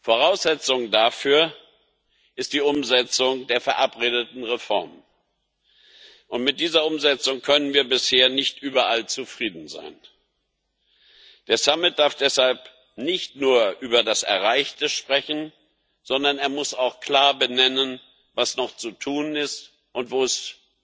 Voraussetzung dafür ist die Umsetzung der verabredeten Reformen. Mit dieser Umsetzung können wir bisher nicht überall zufrieden sein. Der Gipfel darf deshalb nicht nur über das Erreichte sprechen, sondern er muss auch klar benennen, was noch zu tun ist und wo